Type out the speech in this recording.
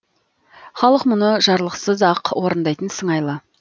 халық мұны жарлықсыз ақ орындайтын сыңайлы